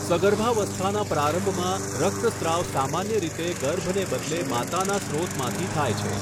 સગર્ભાવસ્થાના પ્રારંભમાં રક્તસ્રાવ સામાન્ય રીતે ગર્ભને બદલે માતાના સ્રોતમાંથી થાય છે.